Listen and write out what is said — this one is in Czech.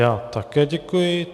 Já také děkuji.